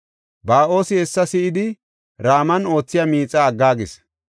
Ba7oosi hessa si7idi Raman oothiya miixa aggaagis.